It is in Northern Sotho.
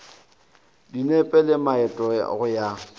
dinepe le maeto go ya